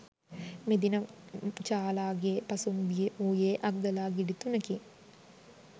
මෙදින චාලාගේ පසුම්බියේ වූයේ අග්ගලා ගෙඩි තුනකි.